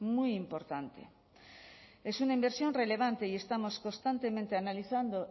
muy importante es una inversión relevante y estamos constantemente analizando